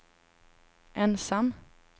ensam